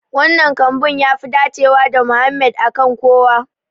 Wannan kambun yafi dacewa da Mohammed a kan kowa.